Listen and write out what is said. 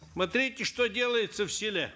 смотрите что делается в селе